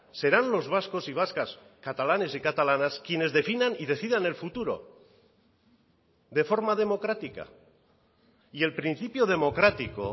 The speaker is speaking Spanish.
serán los vascos y vascas catalanes y catalanas quienes definan y decidan el futuro de forma democrática y el principio democrático